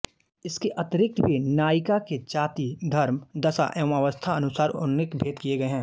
इसके अतिरिक्त भी नायिका के जाति धर्म दशा एवं अवस्थानुसार अनेक भेद किए गए हैं